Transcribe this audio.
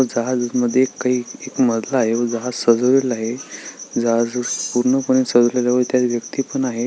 जहाज मध्ये काही एक मजला आहे व जहाज सजवलेले आहे जहाज पूर्ण पणे सजवलेले आहे व त्यात व्यक्ति पण आहे.